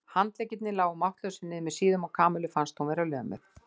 Handleggirnir lágu máttlausir niður með síðunum og Kamillu fannst hún vera lömuð.